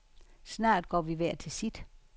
Snart går vi hver til sit.